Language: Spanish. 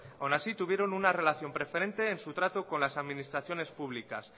aún así tuvieron un relación preferente en su trato con las administraciones públicas